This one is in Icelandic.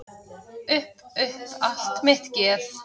Upp upp allt mitt geð.